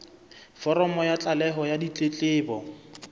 foromo ya tlaleho ya ditletlebo